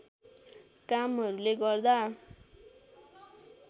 कामहरुले गर्दा